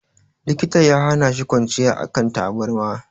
Likita ya hana shi kwanciya a kan tabarma.